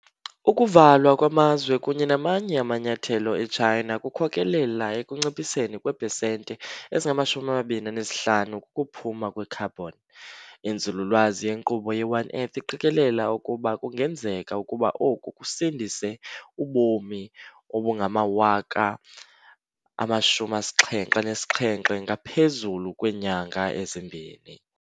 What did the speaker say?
Ukuvalwa kwamazwe kunye namanye amanyathelo eChina kukhokelela ekunciphiseni kweepesenti ezingama-25 kukuphuma kwekhabhoni . Inzululwazi yenkqubo ye-One Earth iqikelela ukuba kungenzeka ukuba oku kusindise ubomi obungama-77,000 ngaphezulu kweenyanga ezimbini.